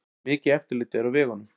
Mikið eftirlit er á vegunum